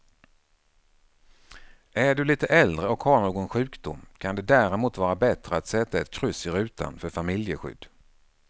Är du lite äldre och har någon sjukdom kan det därmot vara bättre att sätta ett kryss i rutan för familjeskydd.